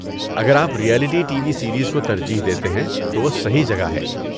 اگر آپ reality T V series کو ترجیح دیتے ہیں تو وہ صحیح جگہ ہے۔